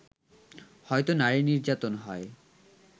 হয়তো নারী নির্যাতন হয়